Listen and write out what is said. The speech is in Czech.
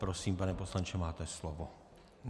Prosím, pane poslanče, máte slovo.